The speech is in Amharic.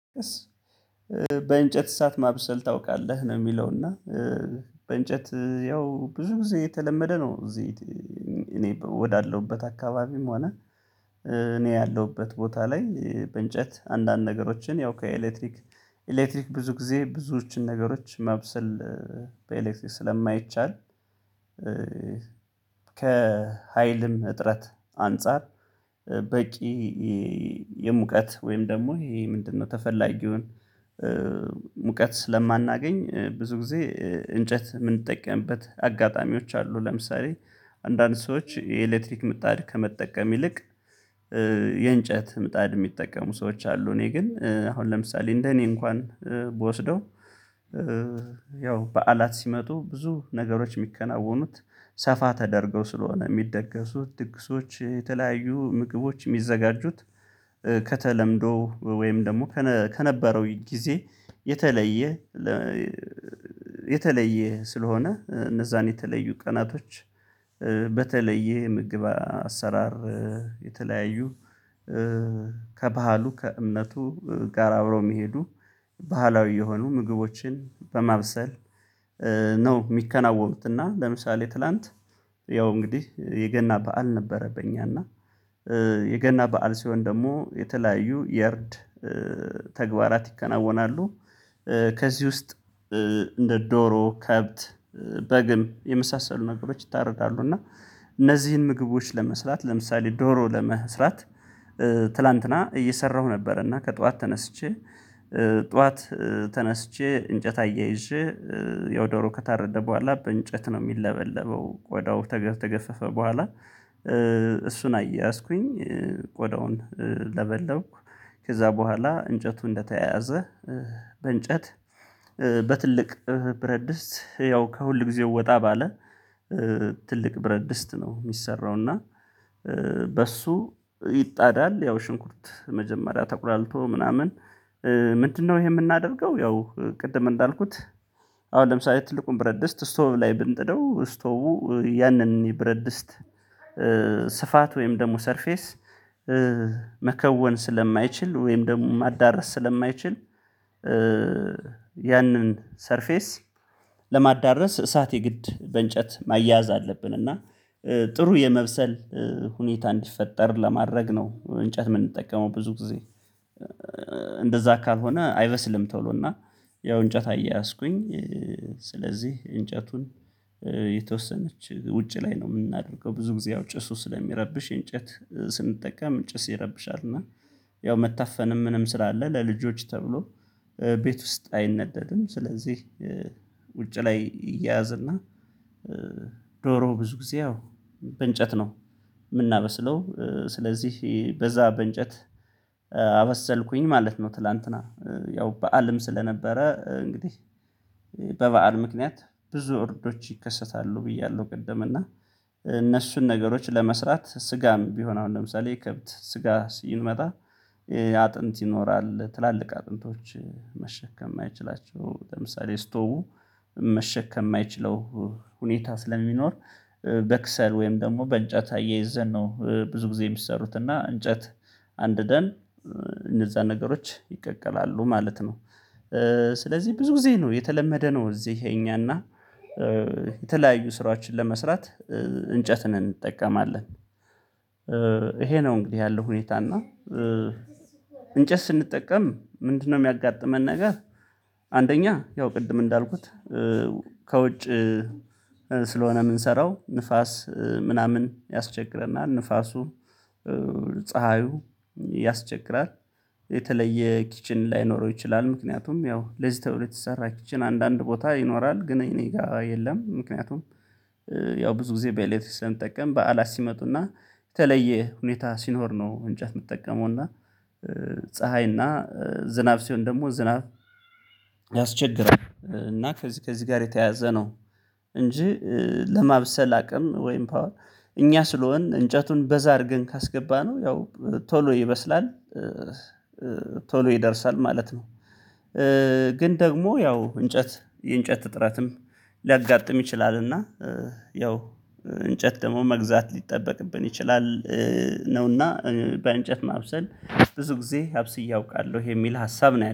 በእንጨት እሳት ማብሰል ታውቃለህ ነው የሚለ፤ እና በእንጨት ያው ብዙ ጊዜ የተለመደ ነው እዚህ እኔ ወዳለሁበት አካባቢም ሆነ እኔ ያለሁበት ቦታ ላይ በእንጨት አንዳንድ ነገሮችን ያው ከኤሌክትሪክ ኤሌክትሪክ ብዙ ጊዜ ብዙዎችን ነገሮች ማብስል በኤሌክትሪክ ስለማይቻል ከሀይልም እጥረት አንፃር በቂ የሙቀት ወይም ደግሞ ይሄ ምንድነው ተፈላጊውን ሙቀት ስለማናገኝ ብዙ ጊዜ እንጨት የምንጠቀምበት አጋጣሚዎች አሉ። ለምሳሌ አንዳንድ ሰዎች የኤሌክትሪክ ምጣድ ከመጠቀም ይልቅ የእንጨት ምጣድ የሚጠቀሙ ሰዎች አ፤ እኔ ግን አሁን ለምሳሌ እንደ እኔ እንኳን ብወስደው ያው በዓላት ሲመጡ ብዙ ነገሮች የሚከናወኑት ሰፋ ተደርገው ስለሆነ የሚደገሱት ጥቅሶች ምግቦች የሚዘጋጁት ከተለምዶ ወይም ደግሞ ከነበረው ጊዜ የተለየ የተለየ ስለሆነ፣ እነዛን የተለዩ ቀናቶች በተለየ ምግብ አሰራር የተለያዩ ከባህሉ፣ ከእምነቱ ጋር አብረው የሚሄዱ ባህላዊ የሆኑ ምግቦችን በማብሰል ነው የሚከናወኑት እና ለምሳሌ ትላንት ያው እንግዲህ የገና በዓል ነበረብኝ እና የገና በዓል ሲሆን ደግሞ የተለያዩ የርድ ተግባራት ይከናወናሉ። ከዚህ ውስጥ እንደ ዶሮ፣ ከብት፣ በግም የመሳሰሉ ነገሮች ይታረዳሉ እና እነዚህን ምግቦች ለመስራት፤ ለምሳሌ ዶሮ ለመስራት ትላንትና እየሰራሁ ነበርና፣ ከጧት ተነስቼ ጧት ተነስቼ፣ እንጨት አያይዤ ያው ከታረደ በኋላ በእንጨት ነው የሚለበለበው ቆዳው ተገ ተገፈፈ በኋላ እሱን አያዝኩኝ ቆዳውን ለበለብኩ፤ ከዛ በኋላ እንጨቱ እንደተያያዘ በእንጨት በትልቅ ብረድስት ያው ከሁል ጊዜ ወጣ ባለ ትልቅ ብረት ድስት ነው የሚሰራው እና በሱ ይጣዳል ያው ሽንኩርት መጀመሪያ ተቆላልቶ ምናምን ምንድነው ይሄ የምናደርገው ያው ቅድም እንዳልኩት አሁን ለምሳሌ ትልቁን ብረድስት ስቶቭ ላይ ብንጥደው ስቶቡ ያንን ይብረድስት ስፋት ወይም ደግሞ ሰርፌስ መከወን ስለማይችል ወይም ደግሞ ማዳረስ ስለማይችል ያንን ሰርፌስ ለማዳረስ እሳት የግድ በእንጨት ማያያዝ አለብን፤ እና ጥሩ የመብሰል ሁኔታ እንዲፈጠር ለማድረግ ነው እንጨት የምንጠቀመው ብዙ ጊዜ። እንደዛ ካልሆነ አይበስልም ቶሎ እና ያው እንጨት አያያዝኩኝ፤ ስለዚህ እንጨቱን የተወሰነች ውጪ ላይ ነው የምናደርገው ብዙ ጊዜ አውጪ እሱ ስለሚረብሽ። እንጨት ስንጠቀም እንጨት ሲረብሻል እና ያው መታፈንም ምንም ስላለ ለልጆች ተብሎ ቤት ውስጥ አይነደድም፤ ስለዚህ ውጭ ላይ ይያዝና ዶሮ ብዙ ጊዜ ያው በእንጨት ነው የምናበስለው ስለዚህ በዛ በእንጨት ማለት ነው ትላንትና ያው በዓልም ስለነበረ እንግዲህ በበዓል ምክንያት ብዙ እርዶች ይከሰታሉ ብያለሁ ቅድም እና እነሱን ነገሮች ለመስራት ስጋም ቢሆን አሁን ለምሳሌ ከብት ስጋ ሲመጣ አጥንት ይኖራል ትላልቅ አጥንቶች መሸከም የማይችላቸው ለምሳሌ ስቶቩ መሸከም የማይችለው ሁኔታ ስለሚኖር በክሰል ወይም ደግሞ በእንጨት አያይዘን ነው ብዙ ጊዜ የሚሰሩት እና እንጨት አንድደን እነዛ ነገሮች ይቀቀላሉ ማለት ነው። ስለዚህ ብዙ ጊዜ ነው የተለመደ ነው እዚህ የኛና የተለያዩ ስራዎችን ለመስራት እንጨትን እንጠቀማለን ነው እንግዲህ ያለው ሁኔታ እና እንጨት ስንጠቀም ምንድነው የሚያጋጥመን ነገር፣ አንደኛ ያው ቅድም እንዳልኩት ከውጭ ስለሆነ የምንሰራው ንፋስ ምናምን ያስቸግረናል፤ ንፋሱ፣ ፀሀዩ ያስቸግራል። የተለየ ኪችን ላይኖረው ይችላ፤ ምክንያቱም ያው ለዚህ ተብሎ የተሰራ ኪችን አንዳንድ ቦታ ይኖራል ግን እኔ ጋር የለም። ምክንያቱም ያው ብዙ ጊዜ በኤሌክትሪክ ስለምጠቀም በዓላት ሲመጡና የተለየ ሁኔታ ሲኖር ነው እንጨት የምትጠቀመው እና ፀሀይ እና ዝናብ ሲሆን ደግሞ ዝናብ ያስቸግራል እና ከዚህ ከዚህ ጋር የተያያዘ ነው እንጂ ለማብሰል አቅም ወይም ፓወር እኛ ስለሆን እንጨቱን በዛ አድርገን ካስገባነው ያው ቶሎ ይመስላል። ቶሎ ይደርሳል ማለት ነው። ግን ደግሞ ያው እንጨት የእንጨት ጥረትም ሊያጋጥም ይችላልና ያው እንጨት ደግሞ መግዛት ሊጠበቅብን ይችላል ነውና በእንጨት ማብሰል ብዙ ጊዜ አብስዬ አውቃለሁ የሚል ሀሳብ ነው።